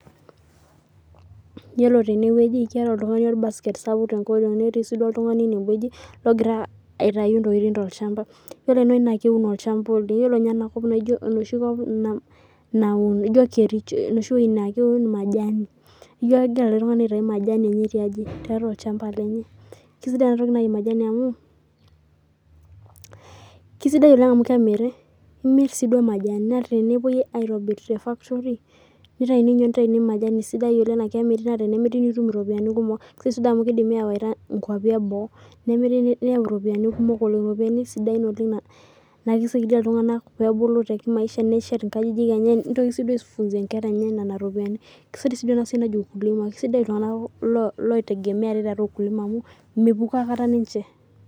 Yiolo tenewueji naa keeta oltung'ani orbaket sapuk tenkoriog netii oltung'ani enewueji logira aitayu entokitin too olchamba ore enewueji naa keuno olchamba oleng ore ninye enakop naa ijio enoshi kop naun majani ejio kegirai oltung'ani aitayu majani tiatua olchamba lenye kisidai ena toki naaji majani amu kemiri naa tenepuoi naaji aitobir tee factory nitayuni majani sidai naa edim anoto eropiani sidain naa kidimi awaita enkwapii eboo nemiri niyau eropiani sidain oleng naa kisaidia iltung'ana pee ebulu tee kimaanisha neshet nkajijik enye nitoki aifunzayie enkera enye Nena ropiani kisidai sii iltung'ana loitegemea ate tiatua ukulima amu mepukoo aikata ninche